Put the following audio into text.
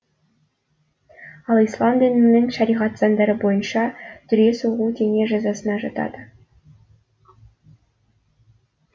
ал ислам дінінің шариғат заңдары бойынша дүре соғу дене жазасына жатады